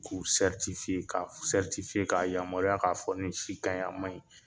K'u ka ka a yamaruya k'a fɔ nin si kaɲi a maɲi.